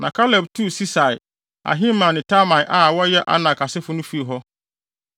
Na Kaleb tuu Sesai, Ahiman ne Talmai a wɔyɛ Anak asefo no fii hɔ.